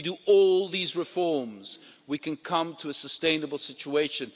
if we make all these reforms, can we come to a sustainable situation.